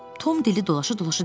Tom dili dolaşa-dolaşa dedi.